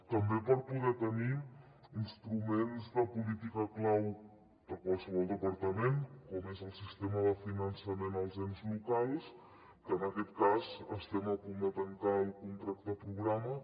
també per poder tenir instruments de política clau de qualsevol departament com és el sistema de finançament als ens locals que en aquest cas estem a punt de tancar el contracte programa